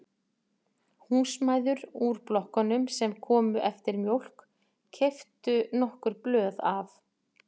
Húsmæður úr blokkunum sem komu eftir mjólk keyptu nokkur blöð af